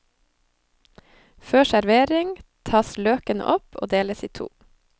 Før servering tas løkene opp og deles i to.